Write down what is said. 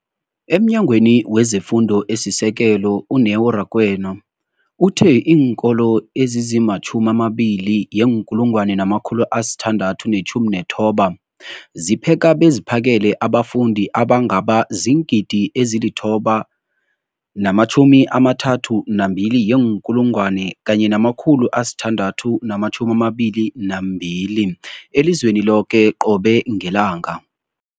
EmNyangweni wezeFundo esiSekelo, u-Neo Rakwena, uthe iinkolo ezizi-20 619 zipheka beziphakele abafundi abangaba ziingidi ezili-9 032 622 elizweni loke qobe ngelanga.